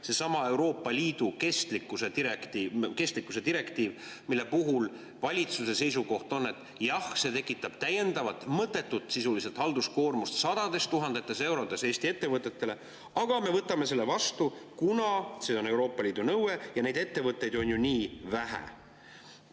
Seesama Euroopa Liidu kestlikkuse direktiiv, mille puhul valitsuse seisukoht on, et jah, see tekitab täiendavat ja sisuliselt mõttetut halduskoormust sadades tuhandetes eurodes Eesti ettevõtetele, aga me võtame selle vastu, kuna see on Euroopa Liidu nõue ja neid ettevõtteid on ju nii vähe.